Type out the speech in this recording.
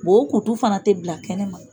o kutu fana tɛ bila kɛnɛma